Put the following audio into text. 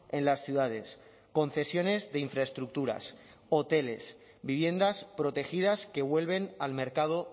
en las ciudades concesiones de infraestructuras hoteles viviendas protegidas que vuelven al mercado